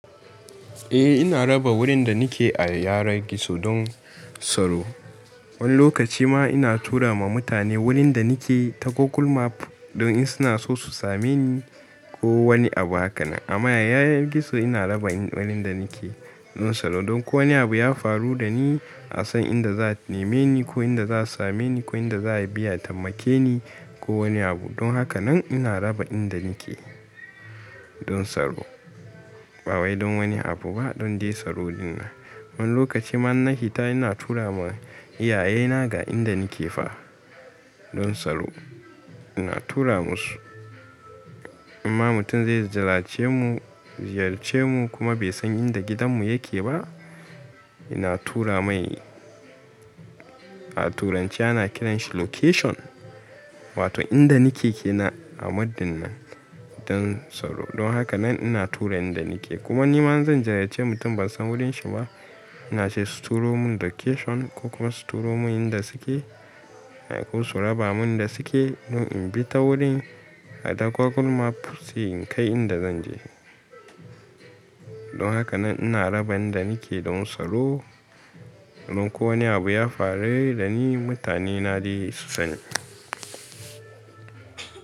Eh ina rufe gurin da nake a yanar gizo don tsaro. Wani lokaci ma ina tura ma mutane gurin da nake ta Google Map don in suna so su same ni ko wani abu hakanan. Amma a yanar gizo ina rufe inda nake don tsaro. Don ko wani abu ya faru dani asan inda za'a nemeni ko inda za'a sameni ko inda za abi a tambakeni ko wani abu. Don haka nan ina rufe inda nake don tsaro. Bawai don wani abu ba don dai tsaro ɗinnan. Wani lokacinma inna fita ina turawa iyayena ga inda nake fa don tsaro. Ina tura musu inma mutum zai ziyarce mu, ziyarce mu kuma bai san inda gidan mu yake ba, ina tura mai a turanci ana kiran shi location. Wato inda nake kenan a map ɗin nan don tsaro. Don haka anan ina tura inda nake. Kuma nima inzan ziyarci mutum bansan gurin shi ba, ina cewa su turo mun location ko kuma su turo mun inda suke ko su raba mun inda suke don inbi ta gurin a Google Map sai in kai inda zan je. Don haka nan ina rufa inda nake don tsaro. Domin ko wani abu ya faru dani mutanena dai su sani.